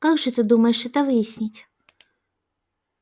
как же ты думаешь это выяснить